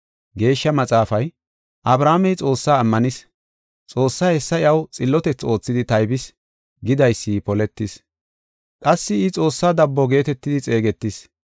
Geeshsha Maxaafay, “Abrahaamey Xoossaa ammanis. Xoossay hessa iyaw xillotethi oothidi taybis” gidaysi poletis. Qassi I Xoossaa dabbo geetetidi xeegetis.